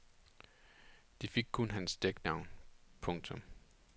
De fik kun hans dæknavn. punktum